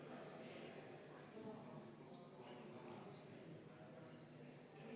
Jah, sellele mul ei ole ka võimalik vastata.